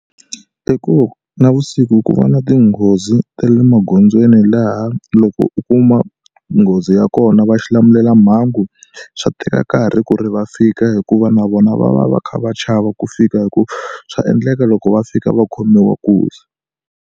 I ku navusiku ku va na tinghozi ta le magondzweni laha loko u kuma nghozi ya kona va xilamulelamhangu swi teka nkarhi ku ri va fika hikuva na vona va va va kha va chava ku fika hikuva swa endleka loko va fika va khomiwa nkuzi.